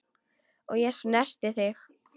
Og ég snerti þig.